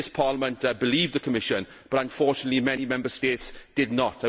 This Parliament believed the Commission, but unfortunately many Member States did not.